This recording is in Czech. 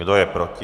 Kdo je proti?